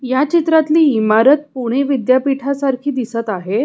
या चित्रातली इमारत पुणे विद्यापीठा सारखी दिसत आहे.